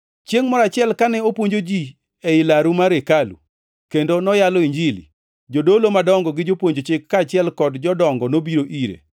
Chiengʼ moro achiel kane opuonjo ji ei laru mar hekalu, kendo noyalo Injili, jodolo madongo gi jopuonj chik, kaachiel kod jodongo nobiro ire.